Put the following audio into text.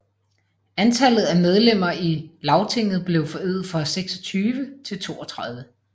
Antallet af medlemmer i Lagtinget blev forøget fra 26 til 32